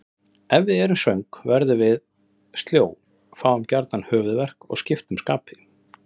Ef við erum svöng verðum við sljó, fáum gjarnan höfuðverk og skiptum skapi.